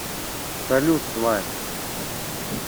салют тварь